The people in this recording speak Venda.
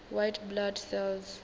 white blood cells